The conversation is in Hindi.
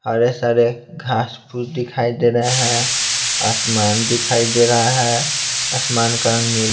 हरे सारे घास फूस दिखाई दे रहे हैं आसमान दिखाई दे रहा है आसमान का रंग नी--